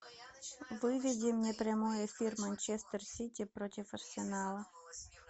выведи мне прямой эфир манчестер сити против арсенала